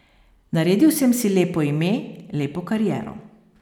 Naredil sem si lepo ime, lepo kariero.